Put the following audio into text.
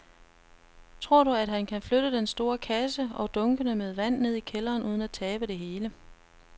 Tror du, at han kan flytte den store kasse og dunkene med vand ned i kælderen uden at tabe det hele?